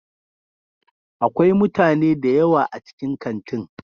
Akwai mutane da yawa a cikin kantin.